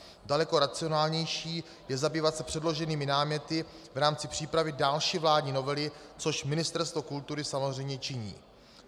Daleko racionálnější je zabývat se předloženými náměty v rámci přípravy další vládní novely, což Ministerstvo kultury samozřejmě činí.